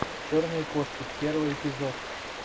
черные кошки первый эпизод